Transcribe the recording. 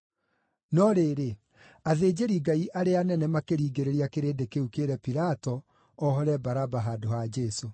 No rĩrĩ, athĩnjĩri-Ngai arĩa anene makĩringĩrĩria kĩrĩndĩ kĩu kĩĩre Pilato ohore Baraba handũ ha Jesũ.